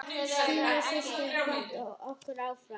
Stína systir hefur kvatt okkur.